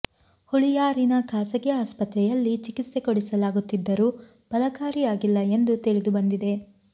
ಹುಳಿಯಾರಿನ ಖಾಸಗಿ ಆಸ್ಪತ್ರೆಯಲ್ಲಿ ಚಿಕಿತ್ಸೆ ಕೊಡಿಸಲಾಗುತ್ತಿದ್ದರೂ ಫಲಕಾರಿಯಾಗಿಲ್ಲ ಎಂದು ತಿಳಿದು ಬಂದಿದೆ